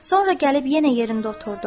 Sonra gəlib yenə yerində oturdu.